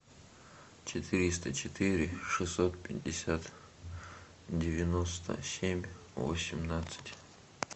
четыреста четыре шестьсот пятьдесят девяносто семь восемнадцать